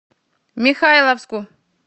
михайловску